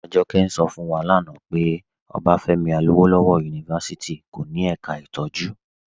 Ajọkẹ̀ ń ṣọ̀ fún wa lánà pé OAU kò ní èká ìtọjú ntọ̀jú.